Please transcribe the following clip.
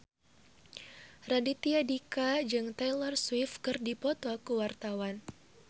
Raditya Dika jeung Taylor Swift keur dipoto ku wartawan